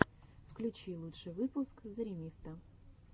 включи лучший выпуск зэремисто